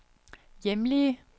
hjemlige